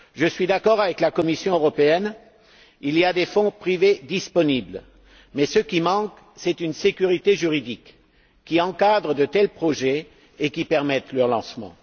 Je suis d'accord avec la Commission européenne il y a des fonds privés disponibles, mais ce qui manque, c'est une sécurité juridique qui encadre de tels projets et qui permette leur lancement.